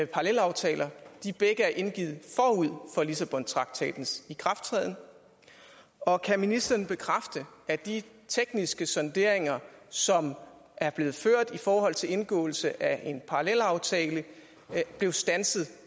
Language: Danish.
parallelaftaler begge er indgivet forud for lissabontraktatens ikrafttræden og kan ministeren bekræfte at de tekniske sonderinger som er blevet ført i forhold til indgåelse af en parallelaftale blev standset